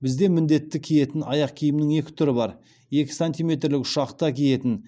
бізде міндетті киетін аяқ киімнің екі түрі бар екі сантиметрлік ұшақта киетін